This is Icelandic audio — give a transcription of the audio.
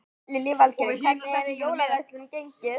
Lillý Valgerður: Hvernig hefur jólaverslunin gengið?